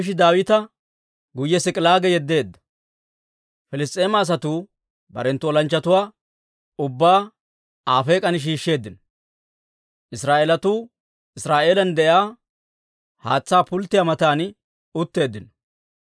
Piliss's'eema asatuu barenttu olanchchatuwaa ubbaa Afeek'an shiishsheeddino. Israa'eelatuu Iziraa'eelan de'iyaa haatsaa pulttiyaa matan utteeddino.